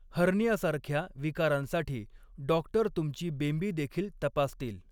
हर्नियासारख्या विकारांसाठी डॉक्टर तुमची बेंबीदेखील तपासतील.